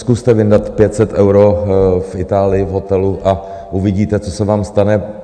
Zkuste vyndat 500 eur v Itálii v hotelu a uvidíte, co se vám stane.